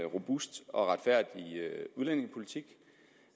robust og retfærdig udlændingepolitik